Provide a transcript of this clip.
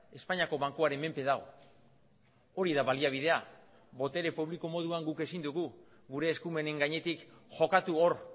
espainiako bankuaren menpe dago hori da baliabidea botere publiko moduan guk ezin dugu gure eskumenen gainetik jokatu hor